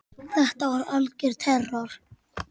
Þetta var algjör terror.